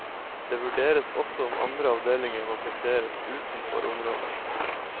Det vurderes også om andre avdelinger må plasseres utenfor området.